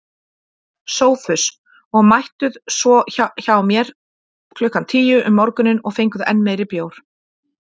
SOPHUS: Og mættuð svo hjá mér klukkan tíu um morguninn og fenguð enn meiri bjór.